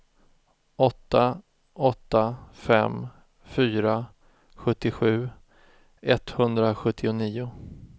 åtta åtta fem fyra sjuttiosju etthundrasjuttionio